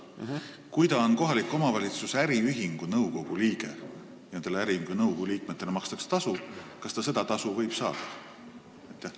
Kui ta on kohaliku omavalitsuse äriühingu nõukogu liige – nendele äriühingu nõukogu liikmetele makstakse tasu –, siis kas ta seda tasu võib saada?